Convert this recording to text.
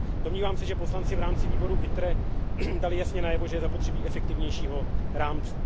Domnívám se, že poslanci v rámci výboru ITRE dali jasně najevo, že je zapotřebí efektivnějšího rámce.